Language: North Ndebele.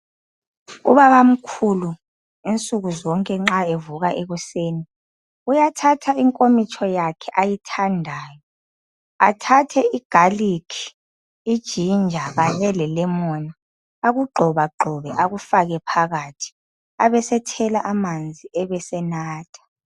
Ubabamkhulu insuku zonke nxa evuka ekuseni, uyathatha inkomitsho yakhe ayithandayo athathe igalikhi, ijinja kanye lelemoni akugxobagxobe akufake phakathi abesethela amanzi ebesenatha.